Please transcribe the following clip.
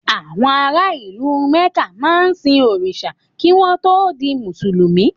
Àwọn ara ìlú Mẹ̀ká máa ń sin òrìṣà kí wọ́n tó di Mùsùlùmí.